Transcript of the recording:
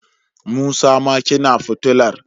Musa ma kina futular